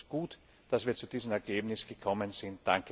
kann. Deshalb ist es gut, dass wir zu diesem Ergebnis gekommen sind.